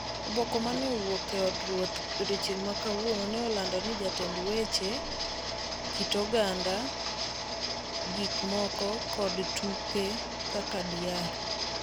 Oboke ma ne owuok e od ruoth e odiechieng’ ma kawuono nolando ni jatend weche weche, jatend weche weche, kit oganda, gik moko kod tuke kaka Dr.